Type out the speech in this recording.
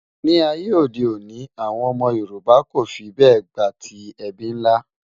ní àyè òde òni, àwọn ómó yorùbà kò fí bè gbátí ẹbí nlá